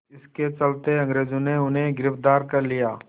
इसके चलते अंग्रेज़ों ने उन्हें गिरफ़्तार कर लिया